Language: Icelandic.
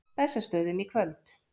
Bessastöðum í kvöld!